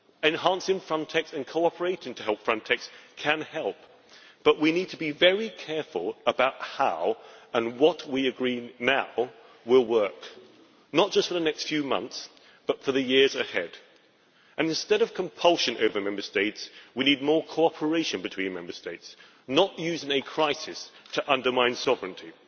enhancing Frontex and cooperating to help Frontex can help, but we need to be very careful about how what we agree now will work, not just for the next few months, but for the years ahead. And instead of compulsion over Member States, we need more cooperation between Member States, not using a crisis to undermine sovereignty.